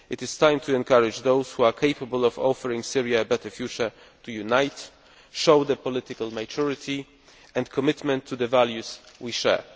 It is time to encourage those who are capable of offering Syria a better future to unite and show political maturity and commitment to the values we share.